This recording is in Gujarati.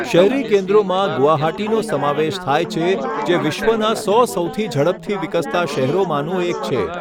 શહેરી કેન્દ્રોમાં ગુવાહાટીનો સમાવેશ થાય છે, જે વિશ્વના સો સૌથી ઝડપથી વિકસતા શહેરોમાંનું એક છે.